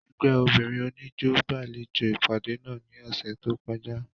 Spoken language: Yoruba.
Ẹgbẹ obinrin oniijó gbalejo ipade náa ni ọsẹ to kọja.